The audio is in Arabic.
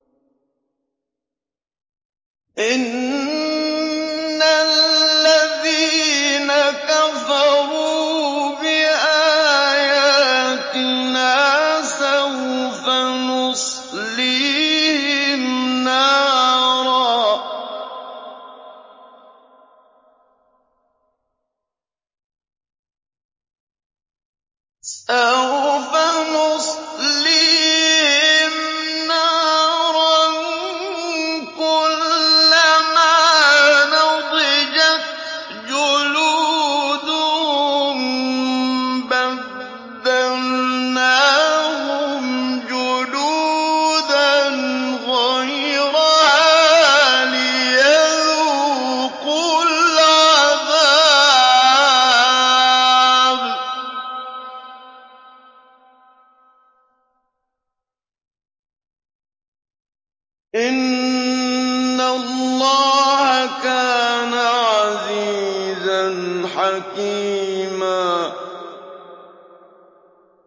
إِنَّ الَّذِينَ كَفَرُوا بِآيَاتِنَا سَوْفَ نُصْلِيهِمْ نَارًا كُلَّمَا نَضِجَتْ جُلُودُهُم بَدَّلْنَاهُمْ جُلُودًا غَيْرَهَا لِيَذُوقُوا الْعَذَابَ ۗ إِنَّ اللَّهَ كَانَ عَزِيزًا حَكِيمًا